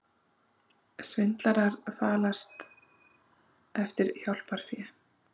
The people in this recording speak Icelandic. Svindlarar falast eftir hjálparfé